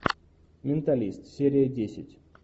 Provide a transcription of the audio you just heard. менталист серия десять